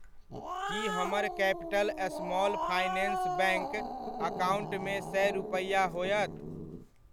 की हमर capital small finance bank अकाउण्टमे सए रूपैआ होयत।